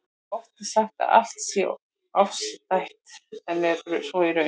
Oft er sagt að allt sé afstætt, en er svo í raun?